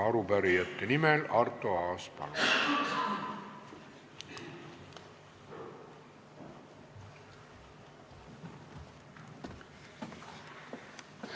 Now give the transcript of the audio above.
Arupärijate nimel Arto Aas, palun!